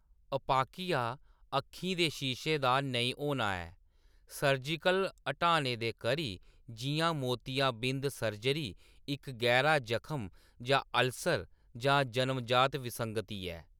अपाकिया अक्खीं दे शीशे दा नेईं होना ऐ, सर्जिकल ह्‌टाने दे करी, जिʼयां मोतियाबिंद सर्जरी, इक्क गैह्‌रा जखम जां अल्सर, जां जनम जात विसंगति ऐ।